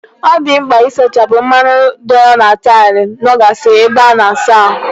Ọ dị mkpa isachapụ mmanụ dọọrọ na taịlụ nọ gasịrị n'ebe ịsa ahụ.